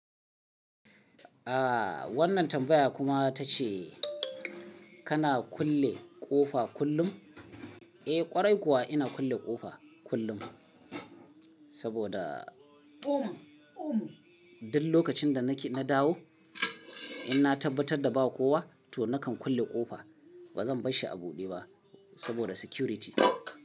Aaa wannan tambaya kuma ta ce. Kana kulle ƙofa kullum? Eh ƙwarai kuwa ina kulle ƙofa kullum. Saboda duk lokacin da na dawo in na tabbatar da ba kowa to nakan kulle ƙofa. Ba zan bar shi a buɗe ba saboda security.